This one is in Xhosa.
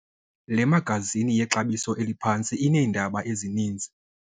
Le magazini yexabiso eliphantsi ineendaba ezininzi.